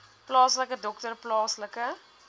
plaaslike dokter plaaslike